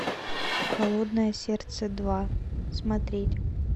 холодное сердце два смотреть